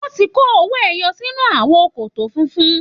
Wọ́n ti kó owó ẹyọ sínú àwo kòtò funfun.